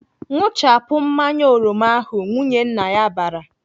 "Ṅụchapụ mmanya oroma ahụ!" Nwunye nna ya bara.